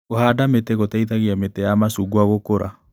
Kũhanda mĩti gũteithagia mĩtĩ ya macungwa gũkũra.